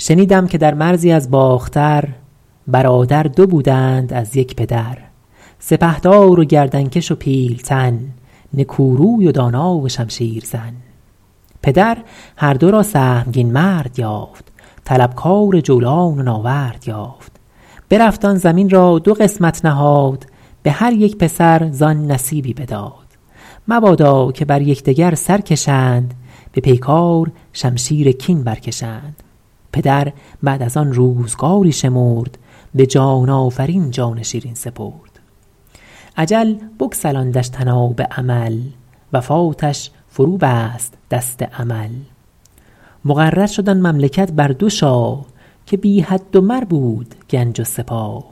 شنیدم که در مرزی از باختر برادر دو بودند از یک پدر سپهدار و گردن کش و پیلتن نکو روی و دانا و شمشیر زن پدر هر دو را سهمگین مرد یافت طلبکار جولان و ناورد یافت برفت آن زمین را دو قسمت نهاد به هر یک پسر زآن نصیبی بداد مبادا که بر یکدگر سر کشند به پیکار شمشیر کین برکشند پدر بعد از آن روزگاری شمرد به جان آفرین جان شیرین سپرد اجل بگسلاندش طناب امل وفاتش فرو بست دست عمل مقرر شد آن مملکت بر دو شاه که بی حد و مر بود گنج و سپاه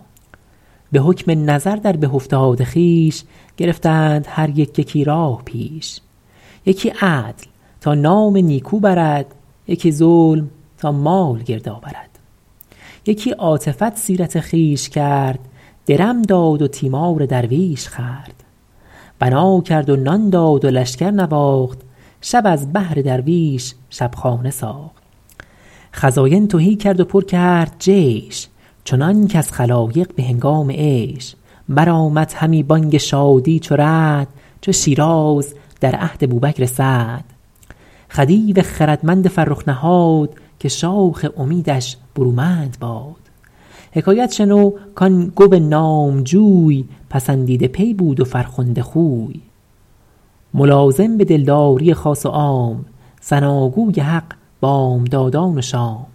به حکم نظر در به افتاد خویش گرفتند هر یک یکی راه پیش یکی عدل تا نام نیکو برد یکی ظلم تا مال گرد آورد یکی عاطفت سیرت خویش کرد درم داد و تیمار درویش خورد بنا کرد و نان داد و لشکر نواخت شب از بهر درویش شبخانه ساخت خزاین تهی کرد و پر کرد جیش چنان کز خلایق به هنگام عیش برآمد همی بانگ شادی چو رعد چو شیراز در عهد بوبکر سعد خدیو خردمند فرخ نهاد که شاخ امیدش برومند باد حکایت شنو کان گو نامجوی پسندیده پی بود و فرخنده خوی ملازم به دلداری خاص و عام ثناگوی حق بامدادان و شام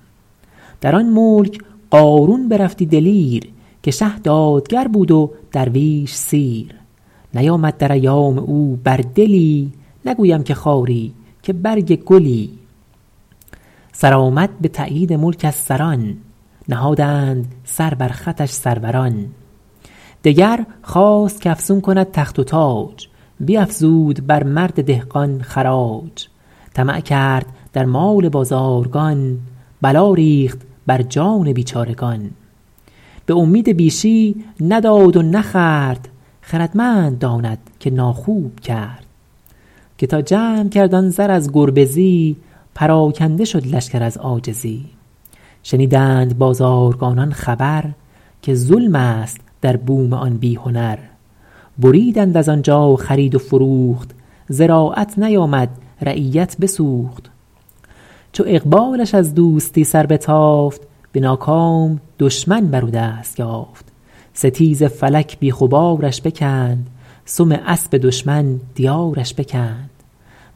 در آن ملک قارون برفتی دلیر که شه دادگر بود و درویش سیر نیامد در ایام او بر دلی نگویم که خاری که برگ گلی سرآمد به تأیید ملک از سران نهادند سر بر خطش سروران دگر خواست کافزون کند تخت و تاج بیافزود بر مرد دهقان خراج طمع کرد در مال بازارگان بلا ریخت بر جان بیچارگان به امید بیشی نداد و نخورد خردمند داند که ناخوب کرد که تا جمع کرد آن زر از گربزی پراکنده شد لشکر از عاجزی شنیدند بازارگانان خبر که ظلم است در بوم آن بی هنر بریدند از آنجا خرید و فروخت زراعت نیامد رعیت بسوخت چو اقبالش از دوستی سر بتافت به ناکام دشمن بر او دست یافت ستیز فلک بیخ و بارش بکند سم اسب دشمن دیارش بکند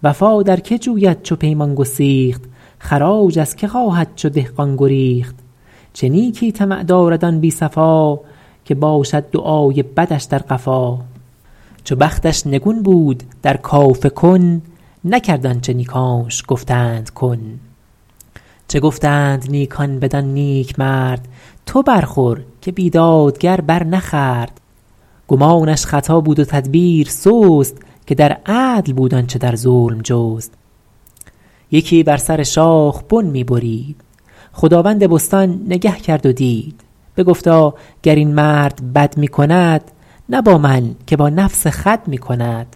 وفا در که جوید چو پیمان گسیخت خراج از که خواهد چو دهقان گریخت چه نیکی طمع دارد آن بی صفا که باشد دعای بدش در قفا چو بختش نگون بود در کاف کن نکرد آنچه نیکانش گفتند کن چه گفتند نیکان بدان نیکمرد تو برخور که بیدادگر بر نخورد گمانش خطا بود و تدبیر سست که در عدل بود آنچه در ظلم جست یکی بر سر شاخ بن می برید خداوند بستان نگه کرد و دید بگفتا گر این مرد بد می کند نه با من که با نفس خود می کند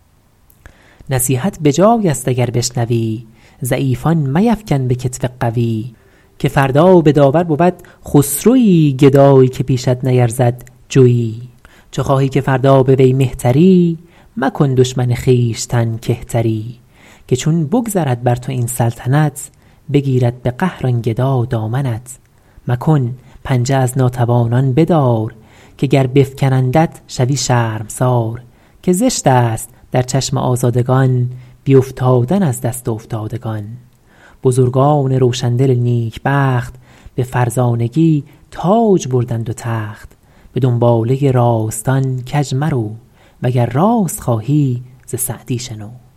نصیحت بجای است اگر بشنوی ضعیفان میفکن به کتف قوی که فردا به داور برد خسروی گدایی که پیشت نیرزد جوی چو خواهی که فردا به وی مهتری مکن دشمن خویشتن کهتری که چون بگذرد بر تو این سلطنت بگیرد به قهر آن گدا دامنت مکن پنجه از ناتوانان بدار که گر بفکنندت شوی شرمسار که زشت است در چشم آزادگان بیافتادن از دست افتادگان بزرگان روشندل نیکبخت به فرزانگی تاج بردند و تخت به دنباله راستان کج مرو وگر راست خواهی ز سعدی شنو